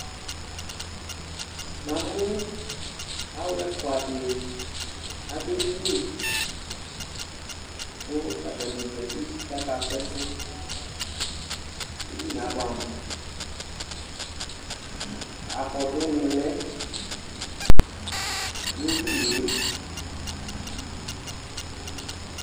Na mʊ alʊ ɛfʊa dɩ adʊ edɩnɩ kʊ atanɩ zatɩ kaka sʊ ɛsɛ Edɩnɩe abʊɛ amʊ Akɔdʊ nɩ lɛ nedɩnɩe